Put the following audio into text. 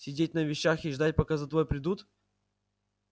сидеть на вещах и ждать пока за тобой придут